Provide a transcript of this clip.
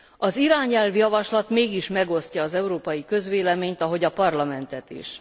Az irányelvjavaslat mégis megosztja az európai közvéleményt, ahogy a Parlamentet is.